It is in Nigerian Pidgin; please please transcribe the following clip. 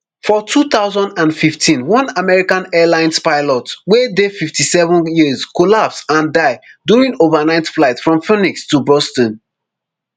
for two thousand and fifteen one american airlines pilot wey dey fifty-seven years collapse and die during overnight flight from phoenix to boston